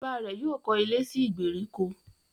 Bàbá rẹ̀ yóò kọ́ ilé sí ìgbèríko